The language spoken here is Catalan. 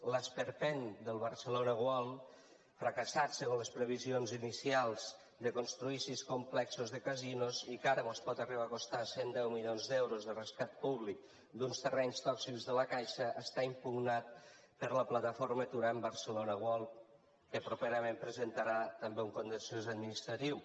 l’esperpent del barcelona world fracassat segons les previsions inicials de construir sis complexos de casinos i que ara mos pot arribar a costar cent i deu milions d’euros de rescat públic d’uns terrenys tòxics de la caixa està impugnat per la plataforma aturem barcelona world que properament presentarà també un contenciós administratiu